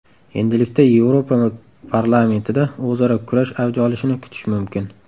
Endilikda Yevropa parlamentida o‘zaro kurash avj olishini kutish mumkin.